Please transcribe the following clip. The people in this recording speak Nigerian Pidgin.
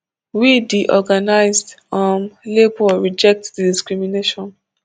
we di organised um labour reject di discrimination